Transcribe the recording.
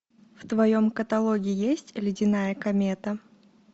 в твоем каталоге есть ледяная комета